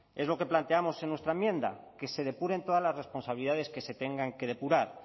es lo que planteamos en nuestra enmienda que se depuren todas las responsabilidades que se tengan que depurar